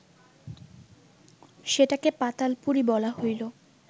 সেটাকে পাতালপুরী বলা হইল